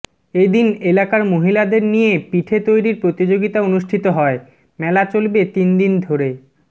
এদিন এলাকার মহিলাদের নিয়ে পিঠে তৈরির প্রতিযোগিতা অনুষ্ঠিত হয় মেলা চলবে তিনদিন ধরে